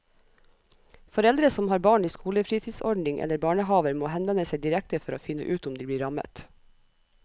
Foreldre som har barn i skolefritidsordning eller barnehaver må henvende seg direkte for å finne ut om de blir rammet.